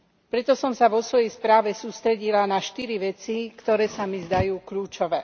Preto som sa vo svojej správe sústredila na štyri veci, ktoré sa mi zdajú kľúčové.